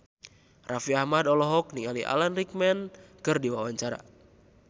Raffi Ahmad olohok ningali Alan Rickman keur diwawancara